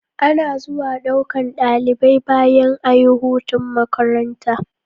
Ana zuwa ɗaukan ɗalibai bayan ayi hutun makaranta